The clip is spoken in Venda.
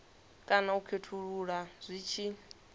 kana u khethulula zwi tshi